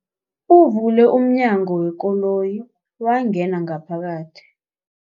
Uvule umnyango wekoloyi wangena ngaphakathi.